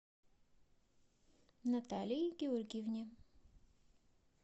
наталии георгиевне